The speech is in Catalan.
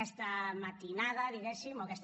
aquesta matinada diguéssim o aquesta